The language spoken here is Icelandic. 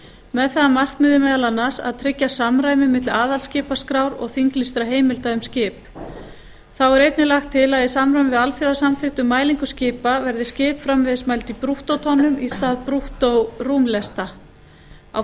með það að markmiði meðal annars að tryggja samræmi milli aðalskipaskrár og þinglýstra heimilda um skip þá er einnig lagt til að í samræmi við alþjóðasamþykkt um mælingu skipa verði skip framvegis mæld í brúttótonnum í stað brúttórúmlesta á